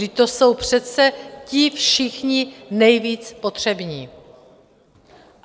Vždyť to jsou přece ti všichni nejvíc potřební.